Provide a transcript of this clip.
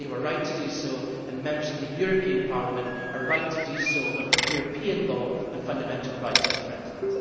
They were right to do so, and Members of the European Parliament are right to do so when European law and fundamental rights are threatened.